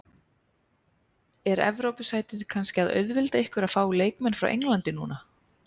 Er Evrópusætið kannski að auðvelda ykkur að fá leikmenn frá Englandi núna?